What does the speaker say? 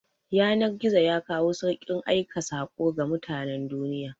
Yanar-gizo yakawo saukin aika sako ga mutanan duniya